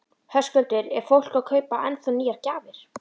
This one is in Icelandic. Höskuldur: Er fólk að kaupa ennþá nýjar gjafir?